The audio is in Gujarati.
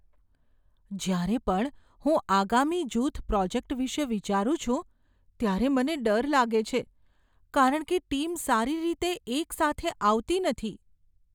જ્યારે પણ હું આગામી જૂથ પ્રોજેક્ટ વિશે વિચારું છું ત્યારે મને ડર લાગે છે કારણ કે ટીમ સારી રીતે એક સાથે આવતી નથી.